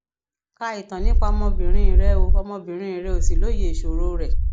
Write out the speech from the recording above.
ka ìtàn nípa ọmọbìnrin rẹ o ọmọbìnrin rẹ o sì lóye ìṣòro rẹ